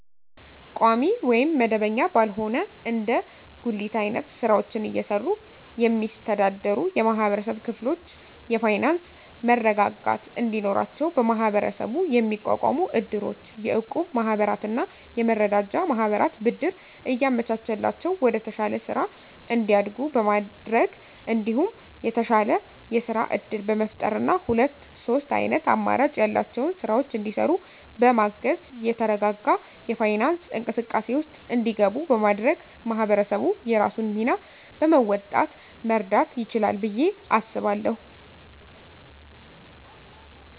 ቋሚ ወይም መደበኛ ባልሆነ እንደ ጉሊት አይነት ስራወችን እየሰሩ የሚስተዳደሩ የማህበረሰብ ክፍሎች የፋይናንሰ መረጋጋት እንዲኖራቸው በመሀበረሰቡ የሚቋቋሙ እድሮች፣ የእቁብ ማህበራትና የመረዳጃ ማህበራት ብድር እያመቻቸላቸው ወደተሻለ ስራ እንዲያድጉ በማድረግ እንዲሁም የተሻለ የስራ እድል በመፍጠርና ሁለት ሶስት አይነት አማራጭ ያላቸውን ስራወች እንዲሰሩ በማገዝ የተረጋጋ የፋይናንስ እንቅስቃሴ ውስጥ እንዲገቡ በማድረግ ማህበረሰቡ የራሱን ሚና በመወጣት መርዳት ይችላል ብየ አስባለሁ።